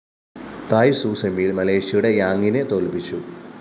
തായ് Tzu സെമിയില്‍ മലേഷ്യയുടെ ഴാംഗിനെ തോല്‍പ്പിച്ചു